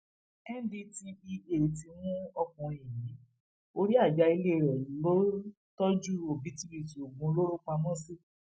ndtea ti mú ọkùnrin yìí orí ajá ilé rẹ lọ tọjú òbítíbitì oògùn olóró pamọ sí